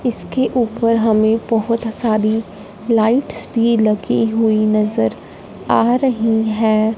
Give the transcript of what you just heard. इसके ऊपर हमें बहोत सारी लाइट्स भी लगी हुई नजर आ रही है।